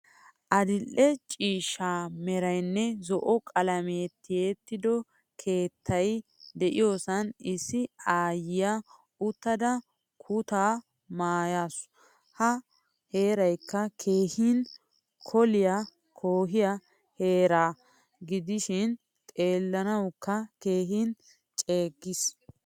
Adil'ee ciishsha meraynne zo'o qalame tiyettido keettay de'iyosan issi aayiya uttada kuutta maayasu. Ha heeraykka keehin kooliyaa koyiyaa heera gidishin xeellanawukka keehin ceeggiis.